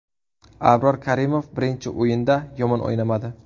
Abror Karimov birinchi o‘yinda yomon o‘ynamadi.